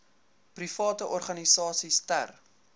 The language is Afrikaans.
private organisasies ter